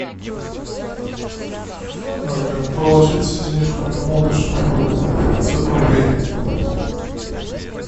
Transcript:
положить денежку моему лучшему другу пятьсот рублей